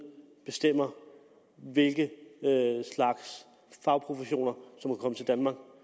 bestemmer hvilke slags fagprofessioner der må